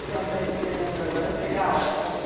A senhora está esperando agora chegar a hora para ir.